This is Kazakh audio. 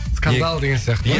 скандал деген сияқты ма